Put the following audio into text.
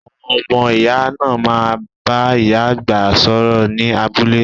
Àwọn ọmọ iya náà má bá ìyá àgbà sọ̀rọ̀ ni abúlé